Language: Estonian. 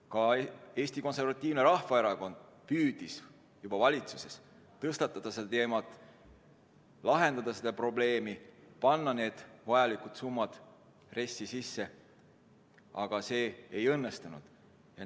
Ka Eesti Konservatiivne Rahvaerakond püüdis valitsuses juba tõstatada seda teemat, lahendada seda probleemi, panna vajalikud summad RES-i sisse, aga see ei õnnestunud.